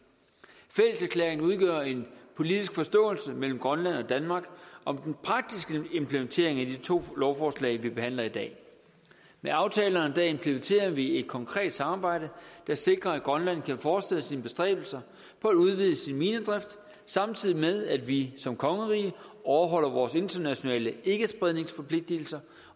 fælleserklæringerne udgør en politisk forståelse mellem grønland og danmark om den praktiske implementering af de to lovforslag vi behandler i dag med aftalerne implementerer vi et konkret samarbejde der sikrer at grønland kan fortsætte sine bestræbelser for at udvide sin minedrift samtidig med at vi som kongerige overholder vores internationale ikkespredningsforpligtelser